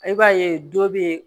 I b'a ye dɔ bɛ